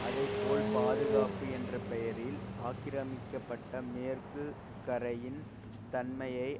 அதேபோல் பாதுகாப்பு என்ற பெயரில் ஆக்கிரமிக்கப்பட்ட மேற்கு கரையின் தன்மையை